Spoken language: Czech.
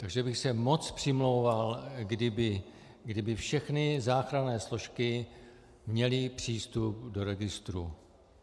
Takže bych se moc přimlouval, kdyby všechny záchranné složky měly přístup do registru.